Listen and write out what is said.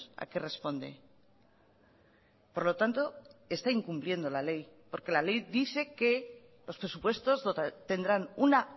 a qué responde por lo tanto está incumpliendo la ley porque la ley dice que los presupuestos tendrán una